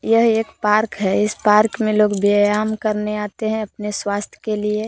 यह एक पार्क है इस पार्क में लोग व्यायाम करने आते है अपने स्वास्थ्य के लिए।